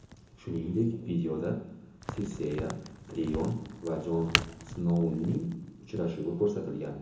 Shuningdek, videoda Sirseya, Tirion va Jon Snouning uchrashuvi ko‘rsatilgan.